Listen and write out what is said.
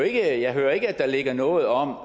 jeg hører ikke at der ligger noget om at